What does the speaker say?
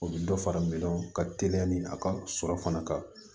U bɛ dɔ fara milɔnɔn ka teliya ni a ka sɔrɔ fana kan